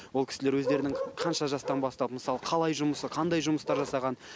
ол кісілер өздерінің қанша жастан бастап мысалы қалай жұмысы қандай жұмыстар жасағанын